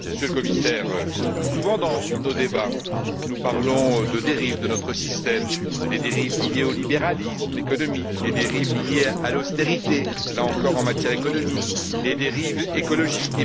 Madame la Présidente, Monsieur le Commissaire, souvent dans nos débats, nous parlons de dérives de notre système les dérives liées au libéralisme économique, les dérives liées à l'austérité là encore en matière économique les dérives écologiques.